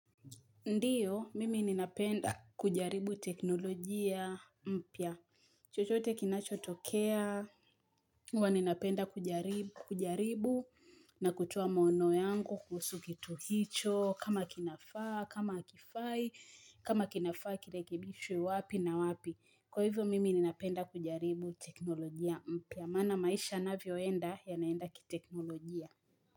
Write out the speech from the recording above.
Ndio, mimi ninapenda kujaribu teknolojia mpya. Chochote kinachotokea, hua ninapenda kujaribu na kutoa maono yangu kuhusu kitu hicho, kama kinafaa, kama hakifai, kama kinafaa kilekebishwe wapi na wapi. Kwa hivyo, mimi ninapenda kujaribu teknolojia mpya. Maana maisha yanavyoenda yanaenda kiteknolojia.